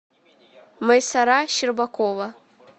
майсара щербакова